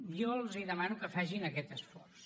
jo els demano que facin aquest esforç